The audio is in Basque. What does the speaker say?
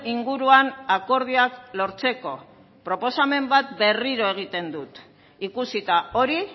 inguruan akordioak lortzeko proposamen bat berriro egiten dut ikusita hori